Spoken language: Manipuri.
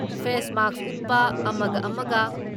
ꯐꯦꯁ ꯃꯥꯛꯁ ꯎꯞꯄ ꯑꯃꯒ ꯑꯃꯒ